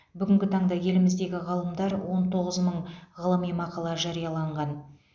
бүгінгі таңда еліміздегі ғалымдар он тоғыз мың ғылыми мақала жарияланған